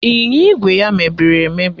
Ịnyịnya ígwè ya emebiri emebi?